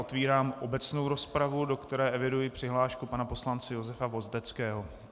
Otevírám obecnou rozpravu, do které eviduji přihlášku pana poslance Josefa Vozdeckého.